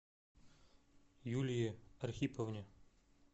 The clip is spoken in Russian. юлии архиповне